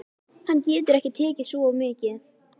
Hann getur ekki tekið svo mikið.